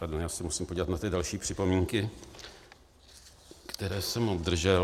Pardon, já se musím podívat na ty další připomínky, které jsem obdržel.